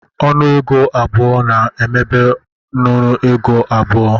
Nnu ego abụọ na-emebe nnu ego n'abu